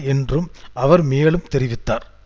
என்றும் அவர் மேலும் தெரிவித்தார்